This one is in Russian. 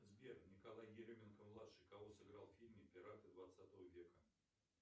сбер николай еременко младший кого сыграл в фильме пираты двадцатого века